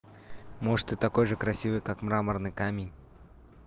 может ты такой же красивый как мраморный камень